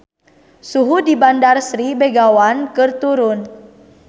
Suhu di Bandar Sri Begawan keur turun